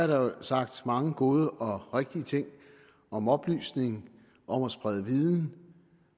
der jo sagt mange gode og rigtige ting om oplysning om at sprede viden